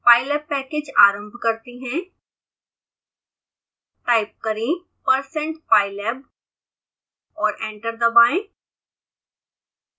pylab package आरंभ करते हैं